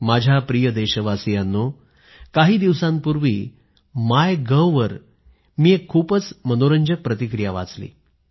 माझ्या प्रिय देशवासियांनो काही दिवसांपूर्वी मी माय गव्हवर एक खूपच मनोरंजक प्रतिक्रिया वाचली